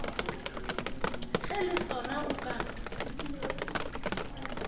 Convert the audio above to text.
ge le sona o ka